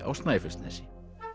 á Snæfellsnesi